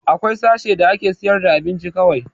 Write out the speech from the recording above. Akwai sashe da ake sayar da abinci kawai